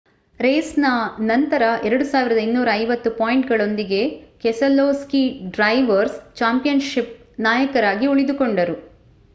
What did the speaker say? ರೇಸ್‌ನ ನಂತರ 2,250 ಪಾಯಿಂಟ್‌ಗಳೊಂದಿಗೆ Keselowski drivers championship ನಾಯಕರಾಗಿ ಉಳಿದುಕೊಂಡರು